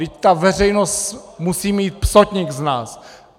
Vždyť ta veřejnost musí mít psotník z nás!